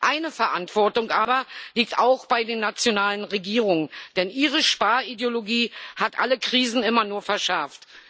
Eine Verantwortung liegt aber auch bei den nationalen Regierungen, denn ihre Sparideologie hat alle Krisen immer nur verschärft.